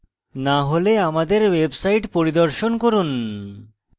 না হলে আমাদের website পরিদর্শন করুন